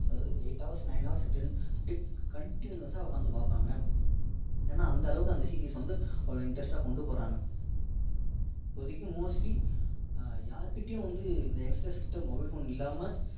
eight hours nine hours அதாவது அப்படியே continuous சா உட்கார்ந்து பார்ப்பாங்க ஏன்னா அந்த அளவுகு அந்த series வந்து அவ்வளோ interest டா கொண்டு போறாங்க இப்போதைக்கு mostly யார்கிட்டையும் வந்து இந்த internet system அதிகம் இல்லாம்ம